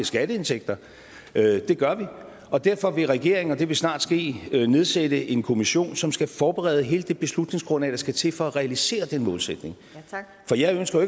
skatteindtægter det gør vi og derfor vil regeringen og det vil snart ske nedsætte en kommission som skal forberede hele det beslutningsgrundlag der skal til for at realisere den målsætning for jeg ønsker